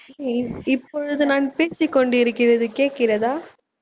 இப்பொழுது நான் பேசிக் கொண்டிருக்கிறது கேக்கிறதா